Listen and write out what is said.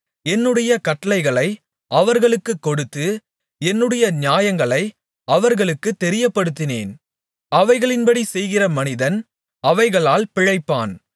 என்னுடைய கட்டளைகளை அவர்களுக்குக் கொடுத்து என்னுடைய நியாயங்களை அவர்களுக்குத் தெரியப்படுத்தினேன் அவைகளின்படி செய்கிற மனிதன் அவைகளால் பிழைப்பான்